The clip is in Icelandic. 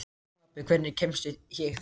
Stapi, hvernig kemst ég þangað?